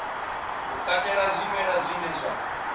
u katela zwimela zwine zwa